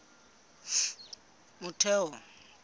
motheo